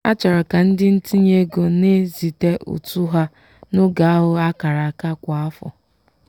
a chọrọ ka ndị ntinye ego na-ezite ụtụ ha n'oge ahụ akara aka kwa afọ.